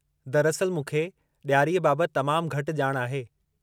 दरिअस्ल मूंखे ॾियारीअ बाबतु तमामु घटि ॼाण आहे।